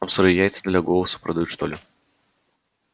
там сырые яйца для голоса продают что ли